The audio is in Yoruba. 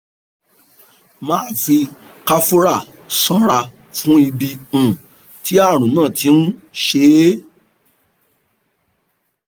- máa fi camphora ṣanra fún ibi um tí àrùn náà ti ń ṣe é